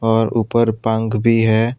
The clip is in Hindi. और ऊपर पंख भी है।